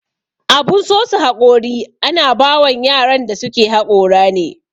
Abun sosa haƙori ana bawan yaran da suke haƙora ne.